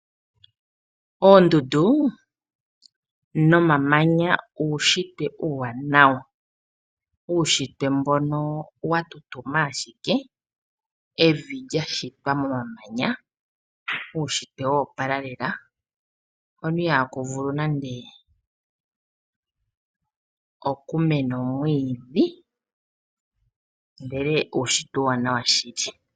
Oondundu nomamanya uushitwe Uuwanawa ,uushitwe mbono watutuma ashike evi lya shitwa momamanya .uushitwe wo opala lela hono ihaku vulu nande okumena omwiidhi ndele uushitwe uuwanawa shili.